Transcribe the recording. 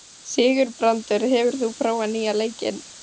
Sigurbrandur, hefur þú prófað nýja leikinn?